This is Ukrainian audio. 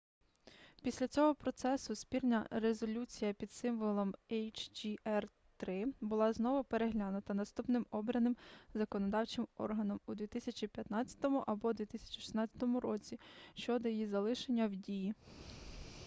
після цього процесу спільна резолюція під символом hjr-3 буде знову переглянута наступним обраним законодавчим органом у 2015 або 2016 році щодо її залишення в дії